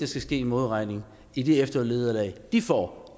skal ske en modregning i det eftervederlag de får